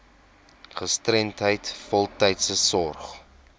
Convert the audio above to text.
gestremdheid voltydse sorg